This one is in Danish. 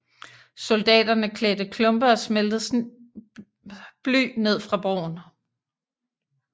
Soldaterne hældte klumper af smeltet bly ned fra broen